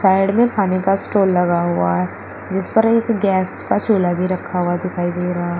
side में खाने का स्टाल लगा हुआ है जिस पर एक गैस का चूल्हा भी रखा हुआ दिखाई दे रहा--